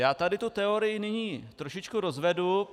Já tady tu teorii nyní trošičku rozvedu...